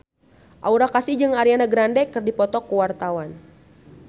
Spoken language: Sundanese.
Aura Kasih jeung Ariana Grande keur dipoto ku wartawan